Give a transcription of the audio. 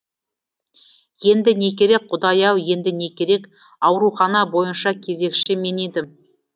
енді не керек құдай ау енді не керек аурухана бойынша кезекші мен едім